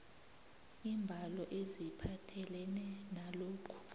iimbalo eziphathelene nalokhu